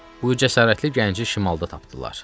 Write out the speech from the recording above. Bu cəsarətli gənci şimalda tapdılar.